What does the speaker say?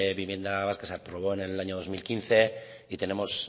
vivienda vasca se aprobó en el año dos mil quince y tenemos